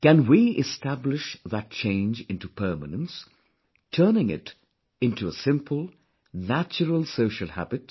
Can we establish that change into permanence, turning it into a simple, natural social habit